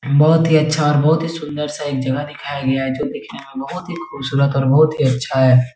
बोहोत ही अच्छा और बोहोत ही सुन्दर सा एक जगह दिखया गया है जो दिखने में बोहोत ही खूबसूरत बोहोत ही अच्छा है।